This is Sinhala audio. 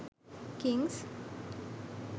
kings